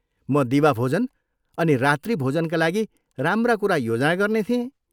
म दिवाभोजन अनि रात्रिभोजनका लागि राम्रा कुरा योजना गर्ने थिएँ।